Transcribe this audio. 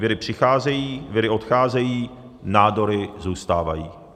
Viry přicházejí, viry odcházejí, nádory zůstávají."